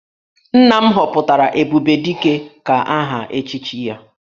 Nna m họpụtara 'Ebubedike' ka aha echichi ya